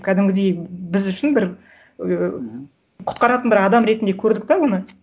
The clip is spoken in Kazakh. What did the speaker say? кәдімгідей біз үшін бір ыыы құтқаратын бір адам ретінде көрдік те оны